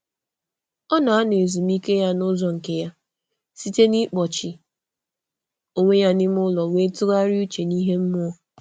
Ọ na-eme emume ezumike n’ụzọ onwe um ya, na-ejide okwukwe ya um siri um n’obi.